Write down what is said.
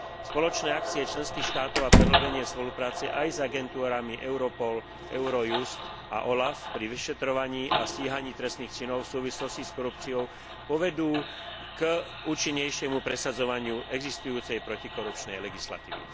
Spoločné akcie členských štátov a prehĺbenie spolupráce aj s agentúrami Europol, Eurojust a OLAF pri vyšetrovaní a stíhaní trestných činov v súvislosti s korupciou povedú k účinnejšiemu presadzovaniu existujúcej protikorupčnej legislatívy.